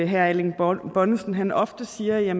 herre erling bonnesen ofte siger at